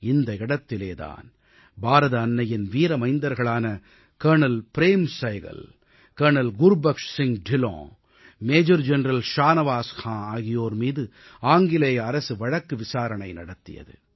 இந்த இடத்திலே தான் பாரத தாயின் வீர மைந்தர்களான colonel Prem Sahgal colonel Gurbaksh Singh Dhillon major general Shahnawaz Khan ஆகியோர் மீது ஆங்கிலேய அரசு வழக்கு விசாரணை நடத்தியது